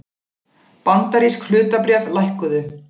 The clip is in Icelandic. Bandarísk hlutabréf lækkuðu